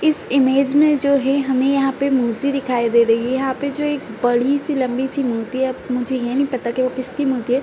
इस इमेज में जो है हमे यहाँ पे मूर्ति दिखाई दे रही है। यहाँ पे जो बड़ी सी लम्बी सी मूर्ति है। मुझे ये नही पता वो किसकी मूर्ति है।